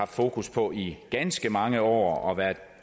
fokus på i ganske mange år og